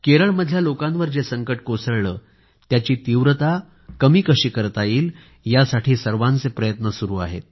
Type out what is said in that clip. केरळमधल्या लोकांवर जे संकट कोसळलं आहे त्याची तीव्रता कशी कमी करता येईल यासाठी सर्वांचे प्रयत्न सुरू आहेत